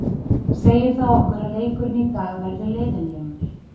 Segir það okkur að leikurinn í dag verði leiðinlegur?